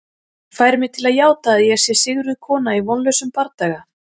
Fær mig til að játa að ég sé sigruð kona í vonlausum bardaga.